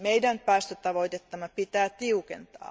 Meidän päästötavoitettamme pitää tiukentaa.